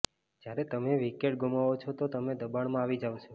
જ્યારે તમે વિકેટ ગુમાવો છો તો તમે દબાણમાં આવી જાવ છો